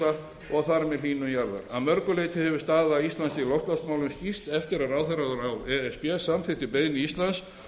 hlýnun jarðar að mörgu leyti hefur staða íslands í loftslagsmálum skýrst eftir að ráðherraráð e s b samþykkti beiðni íslands